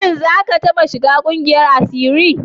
Shin za ka taɓa shiga ƙungiyar asiri?